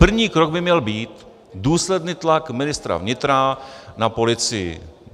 První krok by měl být: důsledný tlak ministra vnitra na policii.